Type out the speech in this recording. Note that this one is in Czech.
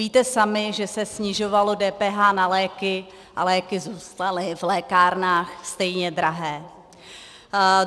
Víte sami, že se snižovalo DPH na léky, a léky zůstaly v lékárnách stejně drahé.